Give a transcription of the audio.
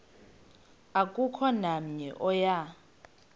akukho namnye oya